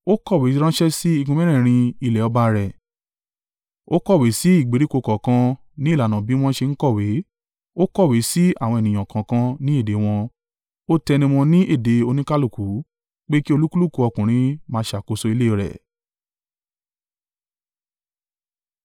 Ó kọ̀wé ránṣẹ́ sí igun mẹ́rẹ̀ẹ̀rin ilẹ̀ ọba rẹ̀, ó kọ̀wé sí ìgbèríko kọ̀ọ̀kan ní ìlànà bí wọ́n ṣe ń kọ̀wé, ó kọ̀wé sí àwọn ènìyàn kọ̀ọ̀kan ní èdè wọn, Ó tẹnumọ́ ní èdè oníkálùkù pé kí olúkúlùkù ọkùnrin máa ṣàkóso ilé rẹ̀.